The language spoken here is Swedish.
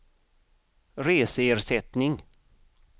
reseersättning